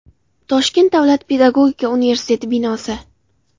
Toshkent davlat pedagogika universiteti binosi.